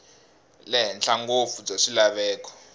le henhla ngopfu bya swilaveko